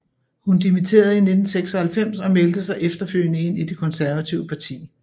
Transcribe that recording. Hun dimitterede i 1996 og meldte sig efterfølgende ind i det konservative parti